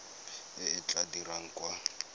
e e tla dirwang kwa